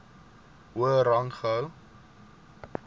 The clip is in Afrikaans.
hoër rang gehou